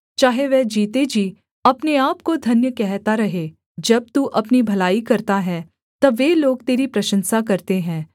चाहे वह जीते जी अपने आपको धन्य कहता रहे जब तू अपनी भलाई करता है तब वे लोग तेरी प्रशंसा करते हैं